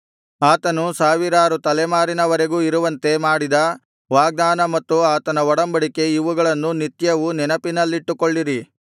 ಆತನು ಸಾವಿರಾರು ತಲೆಮಾರಿನವರೆಗೂ ಇರುವಂತೆ ಮಾಡಿದ ವಾಗ್ದಾನ ಮತ್ತು ಆತನ ಒಡಂಬಡಿಕೆ ಇವುಗಳನ್ನು ನಿತ್ಯವೂ ನೆನಪಿನಲ್ಲಿಟ್ಟುಕೊಳ್ಳಿರಿ